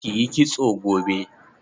Ki yi kitso gobe.